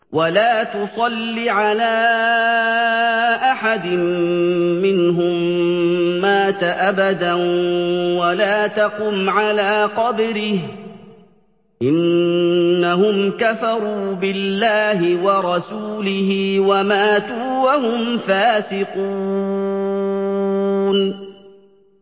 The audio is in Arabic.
وَلَا تُصَلِّ عَلَىٰ أَحَدٍ مِّنْهُم مَّاتَ أَبَدًا وَلَا تَقُمْ عَلَىٰ قَبْرِهِ ۖ إِنَّهُمْ كَفَرُوا بِاللَّهِ وَرَسُولِهِ وَمَاتُوا وَهُمْ فَاسِقُونَ